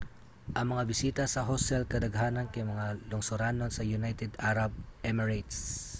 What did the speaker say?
ang mga bisita sa hostel kadaghanan kay mga lungsuranon sa united arab emirates